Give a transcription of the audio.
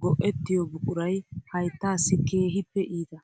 go"ettiyo buquray hayttaassi keehippe iita.